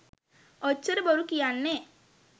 ඔච්චර බොරු කියන්නෙ